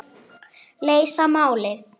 Leysa málið.